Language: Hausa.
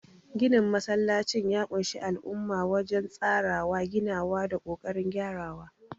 Ginin masallacin ya ƙunshi al'umma wajen tsarawa, ginawa, da kokarin gyarawa.